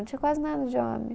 Não tinha quase nada de homem.